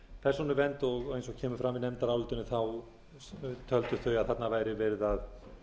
persónuvernd og eins og kemur fram í nefndarálitinu töldu þau að þarna væri verið að